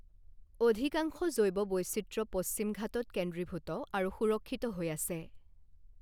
অধিকাংশ জৈৱ বৈচিত্ৰ্য পশ্চিম ঘাটত কেন্দ্ৰীভূত আৰু সুৰক্ষিত হৈ আছে।